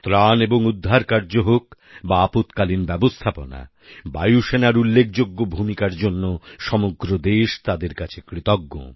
ত্রাণ এবং উদ্ধারকার্য হোক বা আপৎকালীন ব্যবস্থাপনা বায়ুসেনার উল্লেখযোগ্য ভূমিকার জন্য সমগ্র দেশ তাদের কাছে কৃতজ্ঞ